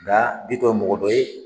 Nga Bitɔn mɔgɔ dɔ ye